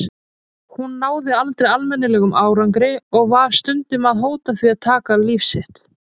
Hún náði aldrei almennilegum árangri og var stundum að hóta því að taka líf sitt.